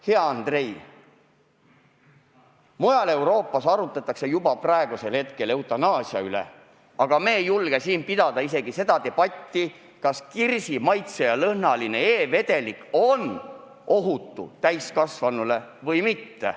Hea Andrei, mujal Euroopas arutatakse praegu juba eutanaasia üle, aga meie ei julge siin pidada isegi seda debatti, kas kirsi maitse ja lõhnaga e-vedelik on täiskasvanule ohutu või mitte.